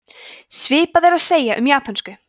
svipað er að segja um japönsku